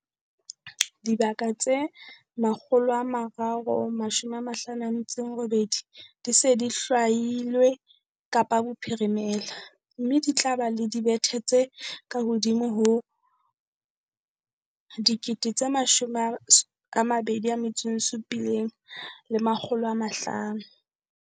Dibaka tse 358 di se di hlwailwe Kapa Bophirimela, mme di tla ba le dibethe tse kahodimo ho 27 500.